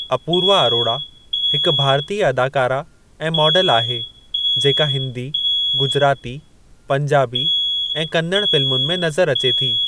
अपूर्वा अरोड़ा हिकु भारतीय अदाकारा ऐं मॉडल आहे जेका हिंदी, गुजराती, पंजाबी ऐं कन्नड़ फ़िल्मुनि में नज़रु अचे थी।